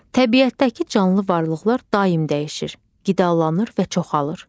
Təbiətdəki canlı varlıqlar daim dəyişir, qidalanır və çoxalır.